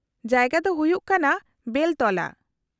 -ᱡᱟᱭᱜᱟ ᱫᱚ ᱦᱩᱭᱩᱜ ᱠᱟᱱᱟ ᱵᱮᱞᱛᱚᱞᱟ ᱾